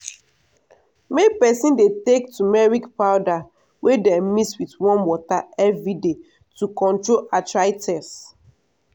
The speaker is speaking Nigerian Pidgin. make peson dey take tumeric powder wey dem mix with warm water everyday to control arthritis.